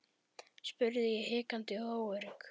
spurði ég hikandi og óörugg.